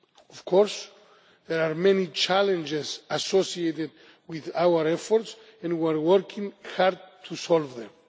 Of course there are many challenges associated with our efforts and we are working hard to solve them.